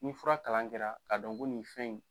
Ni fura kalan kɛra, k'a dɔn ko nin fɛn in